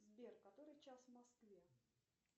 сбер который час в москве